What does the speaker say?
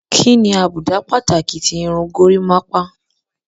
Kí ni àbùdá pàtàkì ti irun gorímápá?